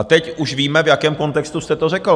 A teď už víme, v jakém kontextu jste to řekl.